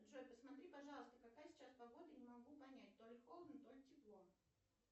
джой посмотри пожалуйста какая сейчас погода я не могу понять то ли холодно то ли тепло